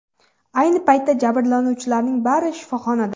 Ayni paytda jabrlanuvchilarning bari shifoxonada.